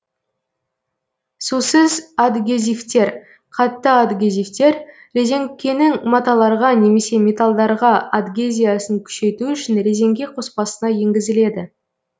сусыз адгезивтер қатты адгезивтер резеңкенің маталарға немесе металдарға адгезиясын күшейту үшін резеңке қоспасына енгізіледі